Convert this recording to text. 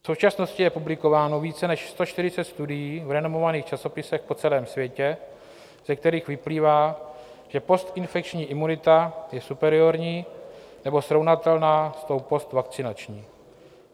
V současnosti je publikováno více než 140 studií v renomovaných časopisech po celém světě, ze kterých vyplývá, že postinfekční imunita je superiorní nebo srovnatelná s tou postvakcinační.